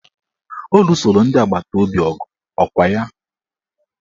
Ọ lusoro ndị agbataobi ọgụ ọkwa ya?